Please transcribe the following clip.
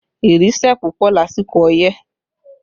Ìrì sẹ̀ pupọ lásìkò ọyẹ́